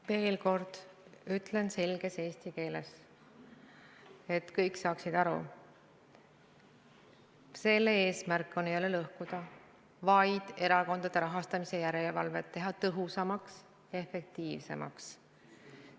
Veel kord ütlen selges eesti keeles, et kõik saaksid aru: selle eelnõu eesmärk ei ole süsteemi lõhkuda, vaid teha erakondade rahastamise järelevalve tõhusamaks ja efektiivsemaks.